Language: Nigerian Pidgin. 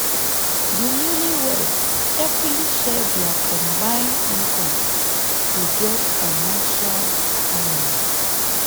di newlyweds carefully share dia combined income to get financial harmony.